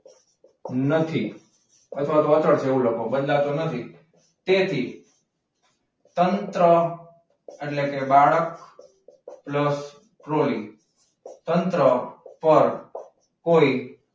નથી અચળ છે અથવા તો અચળ છે એવું લખો બદલાતો નથી. તેથી તંત્ર એટલે કે બાળક પ્લસ ટ્રોલી તંત્ર પર કોઈ